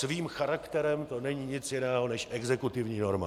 Svým charakterem to není nic jiného než exekutivní norma.